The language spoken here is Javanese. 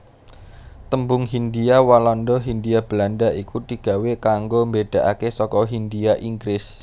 Tembung Hindhia Walanda Hindia Belanda iku digawé kanggo mbedakake saka hindhia Inggris